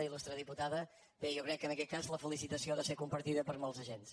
il·lustre diputada bé jo crec que en aquest cas la felicitació ha de ser compartida per molts agents